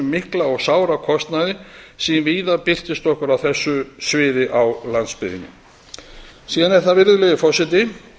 mikla og sára kostnaði sem víða birtist okkur á þessu sviði á landsbyggðinni síðan er það virðulegi forseti